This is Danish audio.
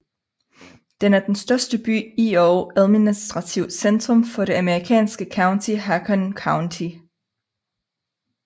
Den er den største by i og administrativt centrum for det amerikanske county Haakon County